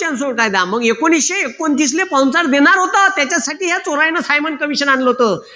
चा कायदा मग एकोणविशे एकोणतीस ला sponsor देणार होता त्यासाठी या चोरांनी सायमंड commission आणलं होत